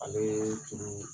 Ale ye fini